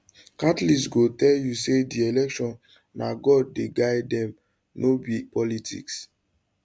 catholics go tell you say di election na god dey guide dem no be politics